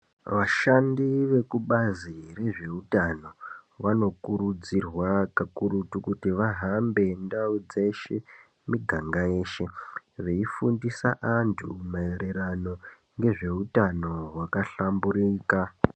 Vashandi vekubazi rezveutano vanokurudzirwa kakurutu kuti vahambe ndau dzeshe ngemiganga yeshe veidzidzisa vantu maererano ngezveutano wakahlamburuka.